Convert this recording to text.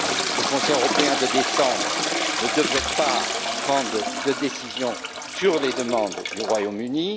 Le Conseil européen de décembre ne devrait pas prendre de décision sur les demandes du Royaume